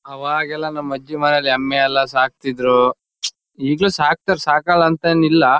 ಅವಾಗೆಲ್ಲಾ ನಮ್ ಅಜ್ಜಿ ಮನೇಲ್ ಎಮ್ಮೆಎಲ್ಲಾ ಸಾಕ್ತಿದ್ರು. ಈಗ್ಲೂ ಸಾಕ್ತರ್ ಸಾಕಲ್ಲಾ ಅಂತ ಏನ್ ಇಲ್ಲಾ.